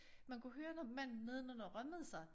Man kunne høre når manden nedenunder rømmede sig